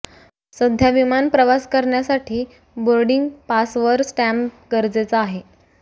सध्या विमान प्रवास करण्यासाठी बोर्डिग पासवर स्टॅम्प गरजेचा आहे